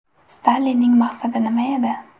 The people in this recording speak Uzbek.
Stalinning maqsadi nima edi?